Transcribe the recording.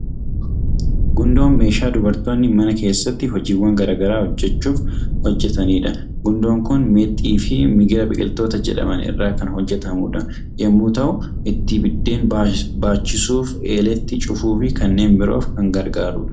Gundoon meeshaa dubartoonni mana keessatti hojiiwwan gara garaa hojjechuuf hojjetanidha. Gundoon kun meexxii fi migira biqiltoota jedhaman irraa kan hojjetamu yommuu ta'u, ittiin biddeen baachisuuf, eeleetti cufuu fi kanneen biroof kan gargaarudha.